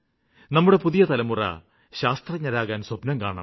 നമ്മുടെ പുതിയ തലമുറ ശാസ്ത്രജ്ഞരാകാന് സ്വപ്നം കാണണം